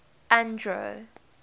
andro